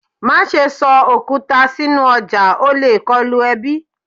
Ma ṣe sọ okuta sinu ọja o le kọlu ẹbi